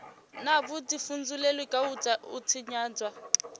na vhudifhinduleli kha u tshinyadzwa